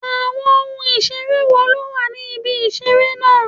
Àwọn ohun ìṣeré wo ló wà ní ibi ìṣeré náà?